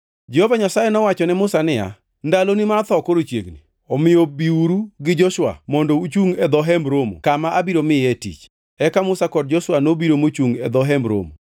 Jehova Nyasaye nowachone Musa niya, “Ndaloni mar tho koro chiegni. Omiyo biuru gi Joshua mondo uchungʼ e dho Hemb Romo kama abiro miye tich.” Eka Musa kod Joshua nobiro mochungʼ e dho Hemb Romo.